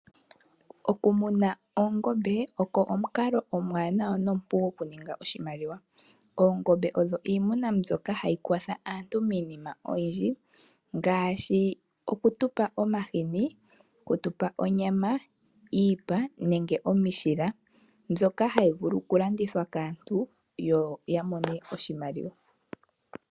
Oku muna oongombe oko omukalo omuwanawa nomupu oku ninga oshimaliwa. Oongombe odho iimuna mbyoka hayi kwatha aantu miinima oyindji, ngaashi oku tupa omahini, oku tupa onyama, iipa, nenge omishila, mbyoka hayi vulu oku landithwa kaantu yo ya mone oshimaliwa.